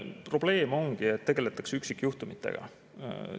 Probleem ongi, et tegeletakse üksikjuhtumitega.